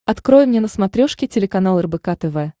открой мне на смотрешке телеканал рбк тв